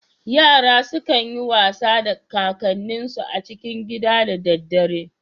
Yara sukan yi wasa da kakanninsu a cikin gida da dadare.